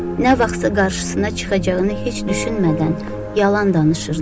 Nə vaxtsa qarşısına çıxacağını heç düşünmədən yalan danışırdı.